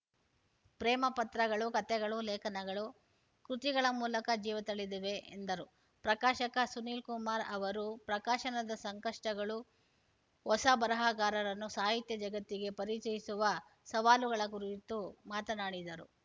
ಪ್ರೇಮ ಪತ್ರಗಳು ಕಥೆಗಳು ಲೇಖನಗಳು ಕೃತಿಗಳ ಮೂಲಕ ಜೀವತಳೆದಿವೆ ಎಂದರು ಪ್ರಕಾಶಕ ಸುನಿಲ್‌ ಕುಮಾರ್‌ ಅವರು ಪ್ರಕಾಶನದ ಸಂಕಷ್ಟಗಳು ಹೊಸ ಬರಹಗಾರರನ್ನು ಸಾಹಿತ್ಯ ಜಗತ್ತಿಗೆ ಪರಿಚಯಿಸುವ ಸವಾಲುಗಳ ಕುರಿತು ಮಾತನಾಡಿದರು